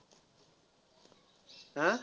हा?